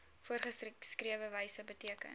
voorgeskrewe wyse beteken